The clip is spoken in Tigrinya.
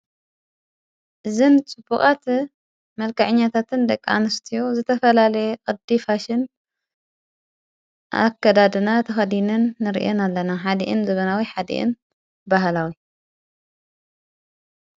ዝን ጽቡቓት መልካዕኛታትን ደቃንስትዮ ዘተፈላለየ ዕዲፋሽን ኣከዳድና ተኸዲንን ንርእን ኣለና ኃዲእን ዘበናዊ ኃዲእን ባሃላዊ።